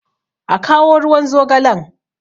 a kawo ruwan zogalen!